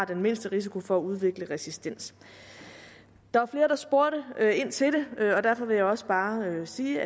den mindste risiko for at udvikle resistens der var flere der spurgte ind til det og derfor vil jeg også bare sige